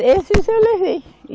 Esses eu levei.